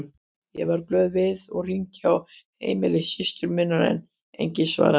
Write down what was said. Ég varð glöð við og hringdi á heimili systur minnar en enginn svaraði.